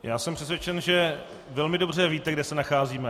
Já jsem přesvědčen, že velmi dobře víte, kde se nacházíme.